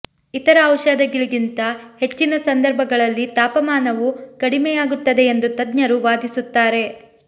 ಇತರ ಔಷಧಗಳಿಗಿಂತ ಹೆಚ್ಚಿನ ಸಂದರ್ಭಗಳಲ್ಲಿ ತಾಪಮಾನವು ಕಡಿಮೆಯಾಗುತ್ತದೆ ಎಂದು ತಜ್ಞರು ವಾದಿಸುತ್ತಾರೆ